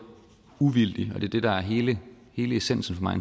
uvildig og det er det der er hele hele essensen for mig